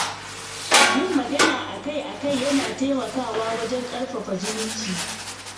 Yin magana a kai a kai yana taimakawa wajen ƙarfafa zumunci.